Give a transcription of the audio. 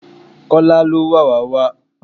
Kola ló wàwá wá